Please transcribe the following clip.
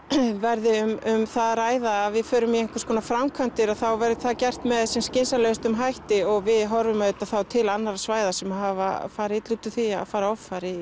verði um það að ræða að við förum í einhvers konar framkvæmdir að þá verði það gert með skynsamlegum hætti og við horfum þá auðvitað þá til annarra svæða sem hafa farið illa út úr því að fara offari